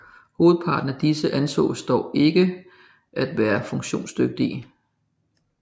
Hovedparten af disse ansås dog ikke at være funktionsdygtige